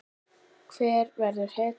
Hver verður hetjan?